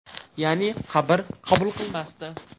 Ya’ni qabr qabul qilmasdi.